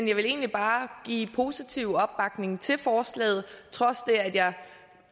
jeg vil egentlig bare give positiv opbakning til forslaget trods det at jeg